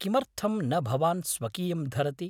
किमर्थं न भवान् स्वकीयं धरति?